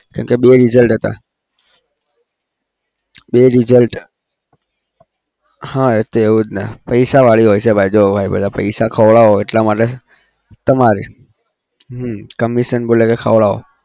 કેમ કે બે result હતા બે result હા એ તો એવું જ ને પૈસાવાળી હોય છે ભાઈ જો ભાઈ બધા પૈસા ખવડાવા એટલા માટે તમારી હમ commission બોલે કે ખવડાવો